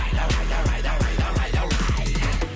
давай давай давай давай давай